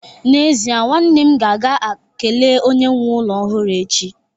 n'ezie, nwanne m ga-aga kelee onye nwe ụlọ ọhụrụ echi